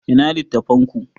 Ina littattafan ku?